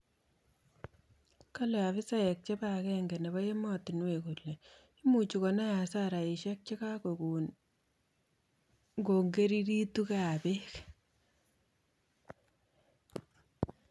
Kale afisaek chebo agenge nebo ematinuek kole imuchi konai hasaraishek chekagogon ngongerigitu bek.